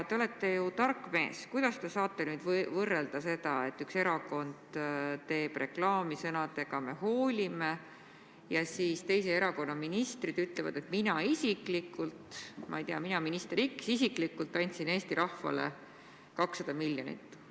Te olete ju tark mees, kuidas te saate võrrelda seda, et üks erakond teeb reklaami sõnadega "Me hoolime", ja teise erakonna ministrid ütlevad, et mina isiklikult, ma ei tea, mina, minister X isiklikult andsin Eesti rahvale 200 miljonit?